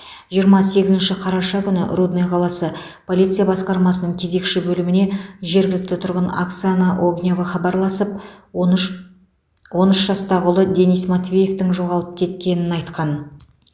жиырма сегізінші қараша күні рудный қаласы полиция басқармасының кезекші бөліміне жергілікті тұрғын оксана огнева хабарласып он үш он үш жастағы ұлы денис матвеевтің жоғалып кеткенін айтқан